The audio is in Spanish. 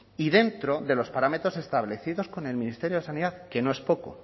y dentro de los parámetros establecidos con el ministerio de sanidad que no es poco